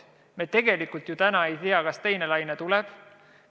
Me tegelikult täna ju ei tea, kas teine laine tuleb.